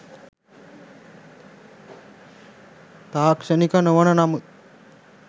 තාක්ෂණික නොවන නමුත්